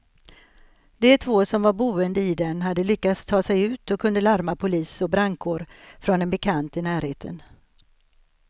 De två som var boende i den hade lyckats ta sig ut och kunde larma polis och brandkår från en bekant i närheten.